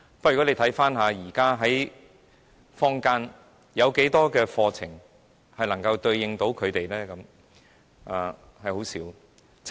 不過，大家看看，現時坊間有多少課程能夠對應他們的需要呢？